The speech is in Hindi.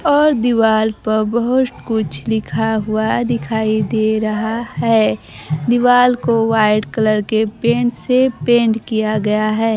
और दीवार पर बहोत कुछ लिखा हुआ दिखाई दे रहा है दीवाल को व्हाइट कलर के पेंट से पेंट किया गया है।